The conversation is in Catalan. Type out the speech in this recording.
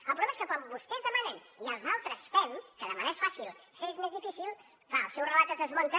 el problema és que quan vostès demanen i els altres fem que demanar és fàcil fer és més difícil clar el seu relat es desmunta